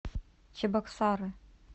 чебоксары